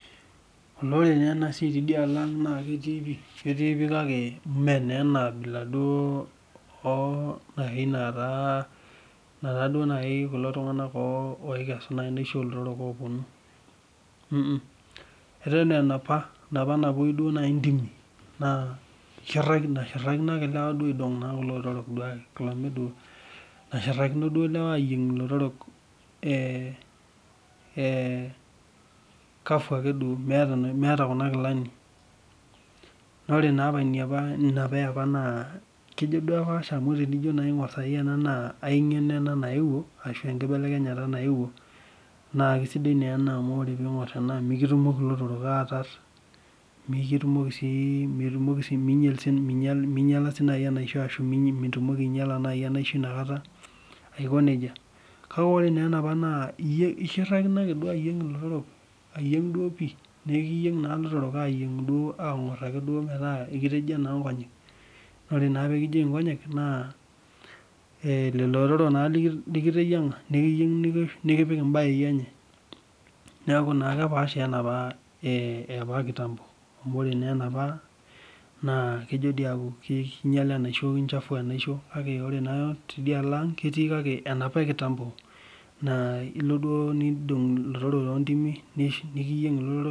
Olee ore taa enasiai tidialo ang naa ketii pi kake me naa enabila duo naaji netaa kulo tunganak oikesu enaisho olotorok. Eton aa enapa napoi ntimi naa eshurtakino naa ake lewa aidong kulo otorok, nashirtakino ake lewa idong lotorok duo meta kuna kilani. Naa ore napa eapa naa kejo duo apaasha amu tiningor enaa naa ai ngeno ena nayeuo ashu enkibelekenyata nayeuo naa kisidai naa ena amu ore ena mikitumoki lotorok aatar, minyala sii enaisho ashu mitumoki naaji ainyala enaisho inakata ,kake ore naa enapa naa ishirtakino ake ayieng ilotorok duo pi naa ekiyieng naake lotorok angor duo pi metaa ekitejia naa nkonyek naa ore na pee kijieyu nkonyek naa Lilo otorok naa likiteyianga ,nikiyieng nikipik mbayei enye. Neeku naa kepaasha wenapa ekitambo amu ore naa enapa kinyala enaisho kichafu enaisho kake ore naa tidialo ang ,ketii kake enapa ekitambo naa kelo nindong lotorok ntoontimi .